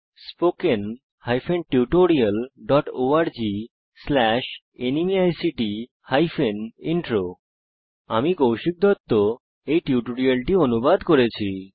spoken hyphen tutorial dot org slash NMEICT hyphen intro আমি কৌশিক দত্ত টিউটোরিয়ালটি অনুবাদ করেছি